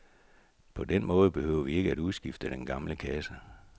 På den måde behøver vi ikke udskifte den gamle kasse.